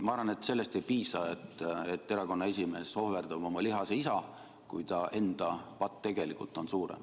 Ma arvan, et sellest ei piisa, et erakonna esimees ohverdas oma lihase isa, kui ta enda patt tegelikult on suurem.